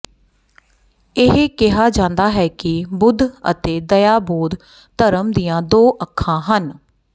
ਇਹ ਕਿਹਾ ਜਾਂਦਾ ਹੈ ਕਿ ਬੁੱਧ ਅਤੇ ਦਇਆ ਬੌਧ ਧਰਮ ਦੀਆਂ ਦੋ ਅੱਖਾਂ ਹਨ